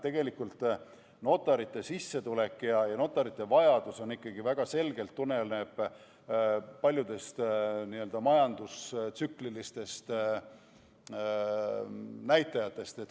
Tegelikult tuleneb notarite sissetulek ja notarite vajadus ikkagi väga selgelt paljudest majandustsüklilistest näitajatest.